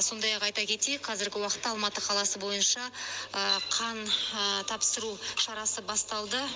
сондай ақ айта кетейік қазіргі уақытта алматы қаласы бойынша қан тапсыру шарасы басталды